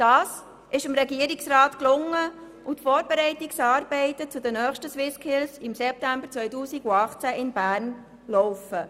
Dies ist dem Regierungsrat gelungen, und die Vorbereitungsarbeiten für die nächsten SwissSkills im September 2018 in Bern laufen.